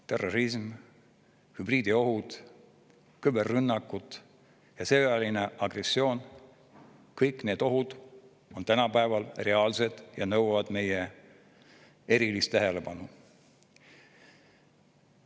Terrorism, hübriidohud, küberrünnakud ja sõjaline agressioon – kõik need ohud on tänapäeval reaalsed ja nõuavad meie erilist tähelepanu.